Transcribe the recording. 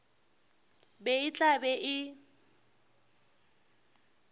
be e tla be e